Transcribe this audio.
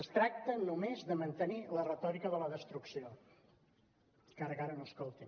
es tracta només de mantenir la retòrica de la destrucció encara que ara no escoltin